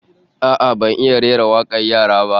A'a, ban iya rera wakar yara ba